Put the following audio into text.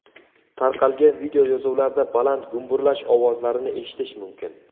Tarqalgan videoyozuvlarda baland gumburlash ovozlarini eshitish mumkin.